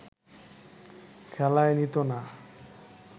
খেলায় নিতো না